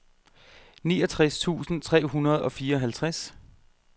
niogtres tusind tre hundrede og fireoghalvtreds